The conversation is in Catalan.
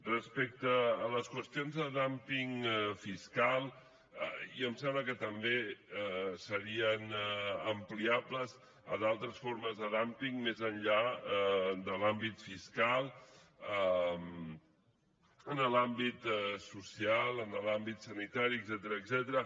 respecte a les qüestions de dumping fiscal i em sembla que també serien ampliables a d’altres formes de dumping més enllà de l’àmbit fiscal en l’àmbit social en l’àmbit sanitari etcètera